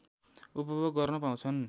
उपभोग गर्न पाउँछन्